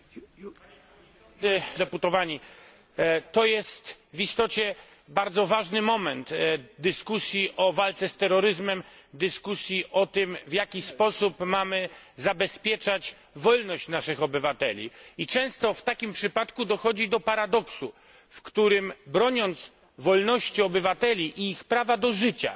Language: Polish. Szanowni Państwo Deputowani! Jest to w istocie bardzo ważny moment dyskusji na temat walki z terroryzmem, w którym mówimy o tym, w jaki sposób mamy zabezpieczać wolność naszych obywateli. Często w takim przypadku dochodzi do paradoksu, w którym broniąc wolności obywateli i ich prawa do życia,